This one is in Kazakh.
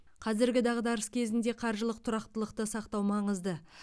қазіргі дағдарыс кезінде қаржылық тұрақтылықты сақтау маңызды